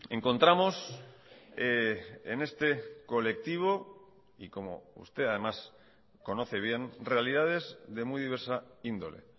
encontramos en este colectivo y como usted además conoce bien realidades de muy diversa índole